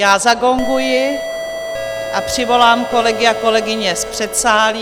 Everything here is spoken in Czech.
Já zagonguji a přivolám kolegy a kolegyně z předsálí.